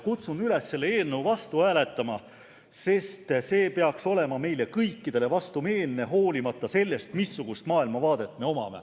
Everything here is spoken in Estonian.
Kutsun üles selle eelnõu vastu hääletama, sest see peaks olema meile kõikidele vastumeelne, hoolimata sellest, missugust maailmavaadet me omame.